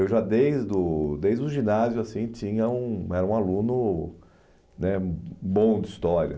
Eu já, desdo desde o ginásio assim tinha um era um aluno né bom de história.